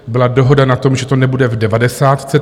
Byla dohoda na tom, že to nebude v devadesátce.